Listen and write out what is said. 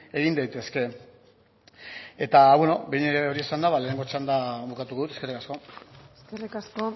egin daitezke eta behin hori esan ba lehenengo txanda bukatu dut eskerrik asko eskerrik asko